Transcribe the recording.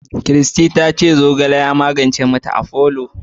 Christy ta ce zogale ya magance ma ta afolo